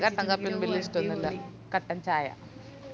എനക്ക് കട്ടൻ കാപ്പിയൊന്നും ബല്യ ഇഷ്ട്ടന്നൂല്ല കട്ടൻ ചായ